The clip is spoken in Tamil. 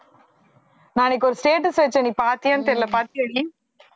நான் அன்னைக்கு ஒரு status வைச்சேன் நீ பார்த்தியான்னு தெரியலே பார்த்தியாடி